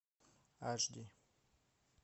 аш ди